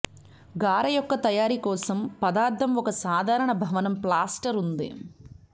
గార యొక్క తయారీ కోసం పదార్థం ఒక సాధారణ భవనం ప్లాస్టర్ ఉంది